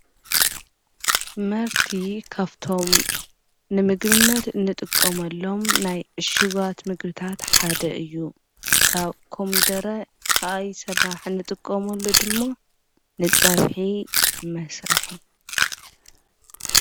ምህርቲ ካብቶም ንምግብነት እንጥቆሙሎም ናይ እሽጓት ምግርታት ሓደ እዩ ካብ ኮሚደረ ኸኣ ይ ሠራሕ እንጥቆምኣሎ ድሞ ንጸብሐ መስርሕ